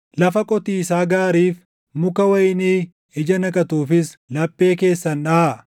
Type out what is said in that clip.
Lafa qotiisaa gaariif, muka wayinii ija naqatuufis laphee keessan dhaʼaa;